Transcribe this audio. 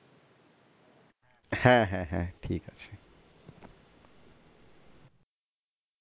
হ্যাঁ হ্যাঁ হ্যাঁ।